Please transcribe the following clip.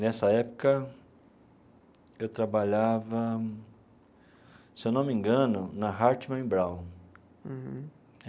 Nessa época, eu trabalhava, se eu não me engano, na Hartmann e Braun. Uhum.